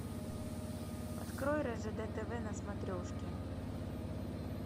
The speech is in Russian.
открой ржд тв на смотрешке